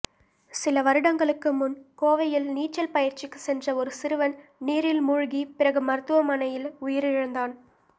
சில வருடங்களுக்கு முன் கோவையில் நீச்சல் பயிற்சிக்குச் சென்ற ஒரு சிறுவன் நீரில் மூழ்கி பிறகு மருத்துவமனையில் உயிரிழந்தான்